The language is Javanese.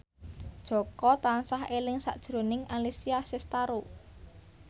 Jaka tansah eling sakjroning Alessia Cestaro